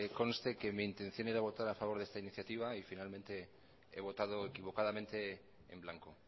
conste que mi intención era votar a favor de esta iniciativa y finalmente he votado equivocadamente en blanco